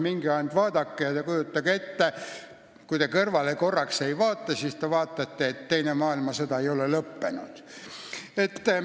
Minge vaadake ja kui te kõrvale ei vaata, siis teile tundub, et teine maailmasõda ei ole lõppenud.